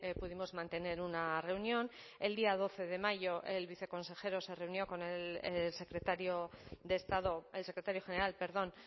pudimos mantener una reunión el día doce de mayo el viceconsejero se reunió con el secretario de estado el secretario general perdón